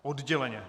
Odděleně.